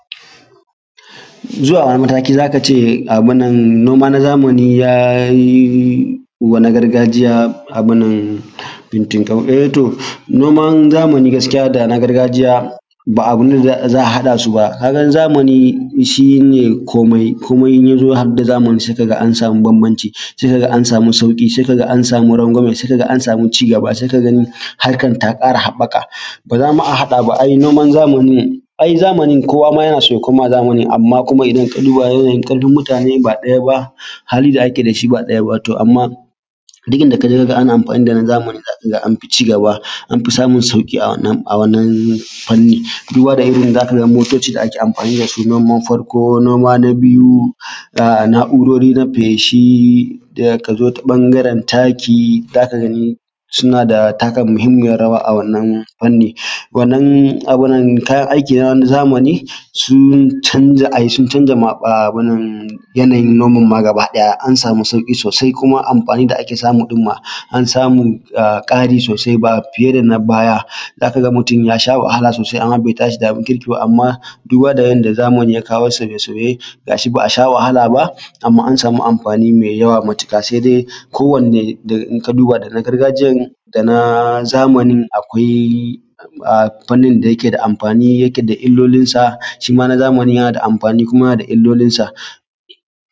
Yanzu a wani mataki za ka ce noman zamani yayi wa na gargajiya abin nan fintinkau, eh to, noman zamani da na gargajiya ba abun da za haɗaa su ba, kaa gan zamani shine koomai, koomai ya zo haɗe da zamani za ka ga an samu bambanci, sai ka ga an samu sauƙi sai ka ga an samu rangwame, sai ka ga an samu cigaba sai ka gani harkar taa ƙara haɓaka, baa za ma a haɗa ba ai noman zamani, ai zamanin kowa maa yana so ya koma zamanin amma kuma idan ka duba yanayin ƙarfin mutaanen ba ɗaya ba, halin da ake da shi ba ɗaya ba, to amma duk inda ka je ka ga ana amfaani da na zamani za ka ga anfi cigaba anfi samun sauƙi a wannan a wannan fanni duba da irin yadda za ka ga motocin da ake amfaani da su noman farko noman na biyu ga na’urori na feeshi ka zo ta ɓangaren taki za ka gani suna taka muhimmiyar rawa a wannan fanni. Wannan abun nan kayan aiki ne na zamani sun canja ai sun canja abunnan yanayin noman maagaba ɗaya an samu sauƙi soosai kuma amfaanin da ake samu ɗin maa an samu ƙari soosai ba fiye da na baya za ka ga mutum ya sha wahala soosai amma bai tashi da abin kirki ba, amma duba da yadda zamani ya kawo sauye-sauye ga shi ba a sha wahala ba amma an samu amfaani mai yawa matuƙa sai dai ko wanne in ka duba daga gargajiyar da na zamanin akwai fannin da yake da amfaani yake da illolinsa, shima na zamanin yana da amfaani yana da illolinsa.